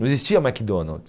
Não existia McDonald's.